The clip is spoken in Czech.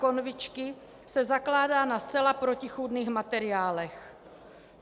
Konvičky se zakládá na zcela protichůdných materiálech.